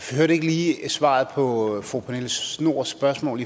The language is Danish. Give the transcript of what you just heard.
hørte ikke lige svaret på fru pernille schnoors spørgsmål